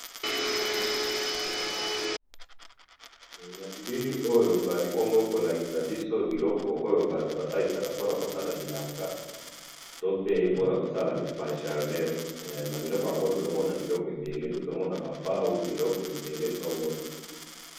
To monibiloko ebele ya ko salela mosala ya nzela to mosala songolo.